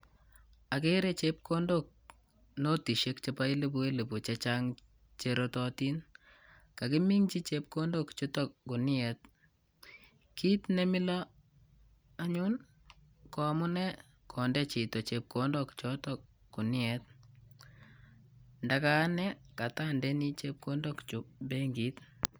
Akere chepkondok, notishek chebo elepu elepu chechang che rototin. Kakiminchi chepkondok chutok guniet. Kiit ne milo anyun ko amunee konde chito chepkondok chotok guniet. Ndaka ane katandeni chepkondok chuk benkit.